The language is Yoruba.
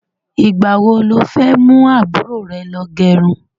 Ìgbà wo lo fẹ́ mú àbúrò rẹ lọ gẹrun?